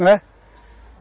Não é?